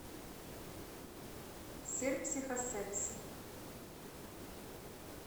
сир психо секси